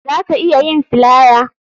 Za ka iya yin flier